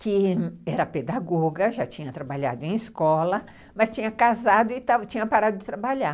que era pedagoga, já tinha trabalhado em escola, mas tinha casado e tinha parado de trabalhar.